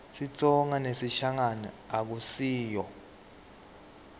sitsonga nesishangane akusiyo